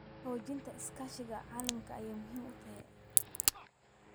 Xoojinta iskaashiga caalamiga ah waa muhiim.